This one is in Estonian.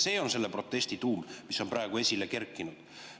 See on selle praegu esile kerkinud protesti tuum.